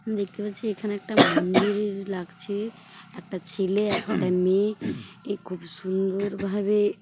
দেখতে পাচ্ছি এখানে একটা মন্দিরের লাগছে একটা ছেলে একটা মেয়ে খুব সুন্দর ভাবে--